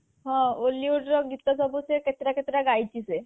ହଁ hollywood ର ଗୀତ ସବୁ ସେ କେତେଟା କେତେଟା ଗାଇଛି ସେ